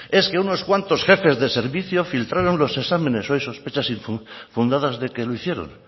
es que unos cuantos jefes de servicio filtraron los exámenes o hay sospechas fundadas de que lo hicieron